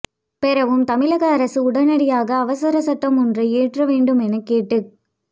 பெறவும் தமிழக அரசு உடனடியாக அவசரச் சட்டம் ஒன்றை இயற்ற வேண்டுமென கேட்டுக்